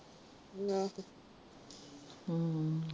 ਆਹੋ ਹੁ